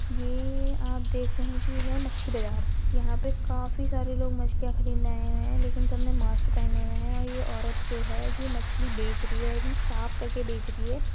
ये आप देख रहे की ये है मच्छी बजार यहा पे काफी सारे लोग मछलिया खरीदने आए हुए है लेकिन सबने मास्क पहने हुए है और ये औरत जो है ये मछली बेचरी है आइ थिंक साफ करके बेचरी है।